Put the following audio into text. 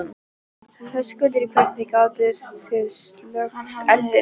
Höskuldur: Hvernig gátið þið slökkt eldinn?